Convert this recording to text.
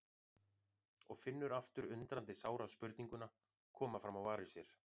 Og finnur aftur undrandi sára spurninguna koma fram á varir sér